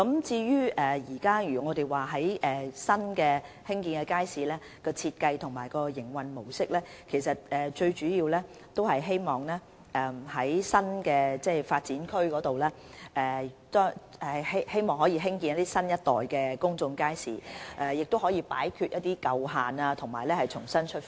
至於新興建的街市的設計和營運模式，我們主要希望在新發展區中興建新一代的公眾街市，務求擺脫舊限，重新出發。